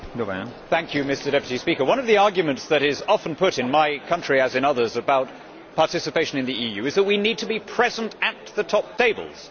Mr President, one of the arguments that is often put in my country, as in others, about participation in the EU is that we need to be present at the top tables.